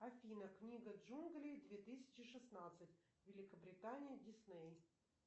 афина книга джунглей две тысячи шестнадцать великобритания дисней